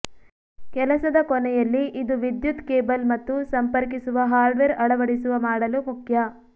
ಕೆಲಸದ ಕೊನೆಯಲ್ಲಿ ಇದು ವಿದ್ಯುತ್ ಕೇಬಲ್ ಮತ್ತು ಸಂಪರ್ಕಿಸುವ ಹಾರ್ಡ್ವೇರ್ ಅಳವಡಿಸುವ ಮಾಡಲು ಮುಖ್ಯ